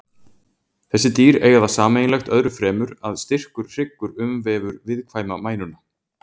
Þessi dýr eiga það sameiginlegt öðru fremur að styrkur hryggur umvefur viðkvæma mænuna.